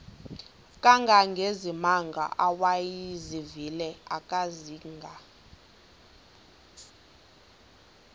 kangangezimanga awayezivile akazanga